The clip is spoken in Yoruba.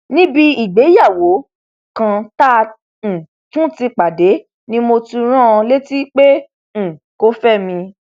níbi ìgbéyàwó kan tá a um tún ti pàdé ni mo tún rán an létí pé um kò fẹ mi